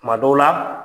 Tuma dɔw la